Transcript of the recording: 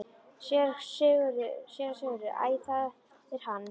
SÉRA SIGURÐUR: Æ, það er hann!